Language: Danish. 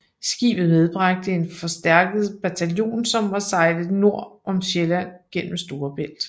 Skibet medbragte en forstærket bataljon og var sejlet nord om Sjælland gennem Storebælt